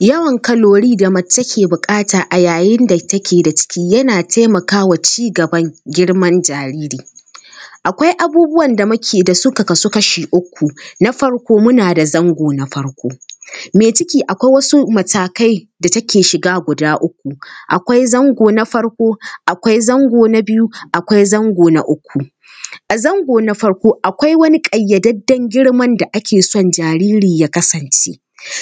Yawan kalori da mace ke buƙata yayin da take da ciki yana taimaka wa ci gaban girman jariri. Akwai abubuwan da muke da su da suka kasu kashi uku: na farko muna da zango na farko:- mai ciki akwai wasu matakai da take shiga guda uku: akwai zango na farko, akwai zango na biyu, akwai zango na uku. A zango na farko akwai wani ƙayyadadden girman da ake son jariri ya kasance,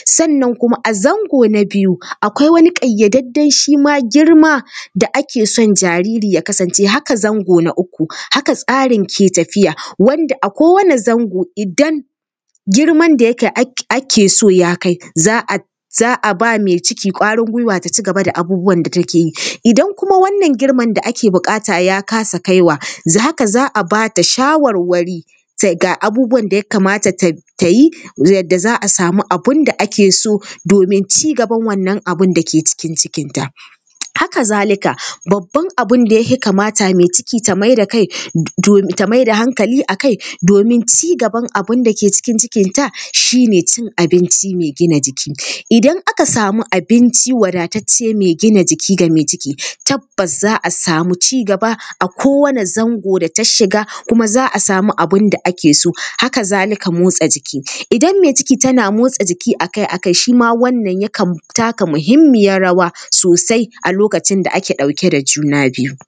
sannan kuma a zango na biyu, akwai wani ƙayyadadden shi ma girma da ake son jariri ya kasance, haka zango na uku, haka tsarin ke tafiya, wanda a kowane zango. Idan girman da yake ake so ya kai, za a ba mai ciki ƙwarin gwiwa, ta ci gaba da abin da take yi. Idan kuma wannan girman da ake buƙata ya kasa kaiwa za a ba ta shawarwari ga abubuwan da ya kamata ta yi, yadda za a samu abin da ake so domin ci gaban wannan abin da ke cikin cikinta. Haka zalika, babban abin da ya fi kamata mai ciki ta mai da kai…… ta mai da hankali a kai, domin ci gaban abin da ke cikin cikinta, shi ne cin abinci mai gina jiki. idan aka samu abinci wadatacce mai gina jiki ga mai ciki, tabbas za a samu ci gaba a kowane zango da ta shiga kuma za a samu abin da ake so. Haka zalika motsa jiki, idan mai ciki tana motsa jiki a kai a kai, shi ma wannan yana taka muhimmiyar rawa sosai a lokacin da ake ɗauke da juna biyu.